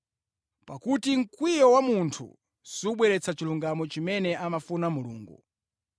Pakuti mkwiyo wa munthu subweretsa chilungamo chimene amafuna Mulungu.